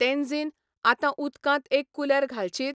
तेन्झीन, आतां उदकांत एक कुलेर घालशीत?